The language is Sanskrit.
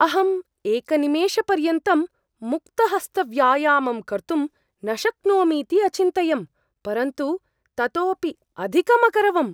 अहम् एकनिमेषपर्यन्तं मुक्तहस्तव्यायामं कर्तुं न शक्नोमीति अचिन्तयं, परन्तु ततोपि अधिकम् अकरवम्।